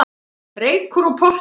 Reykur úr potti